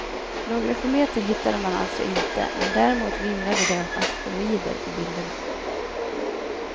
Några kometer hittade man alltså inte men däremot vimlade det av asteroider på bilderna.